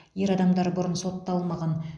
ер адамдар бұрын сотталмаған